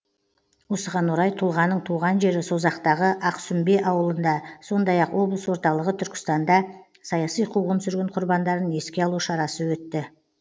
осыған орай тұлғаның туған жері созақтағы ақсүмбе ауылында сондай ақ облыс орталығы түркістанда саяси қуғын сүргін құрбандарын еске алу шарасы өтті